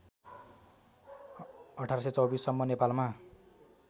१८२४ सम्म नेपालमा